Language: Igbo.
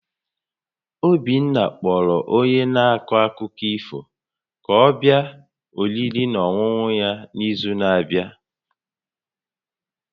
Obinna kpọrọ onye na-akọ akụkọ ifo ka ọ bịa oriri na ọṅụṅụ ya n'izu na-abịa